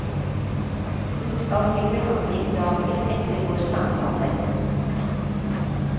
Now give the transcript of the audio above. Hun skal til behandling dagen etter vår samtale.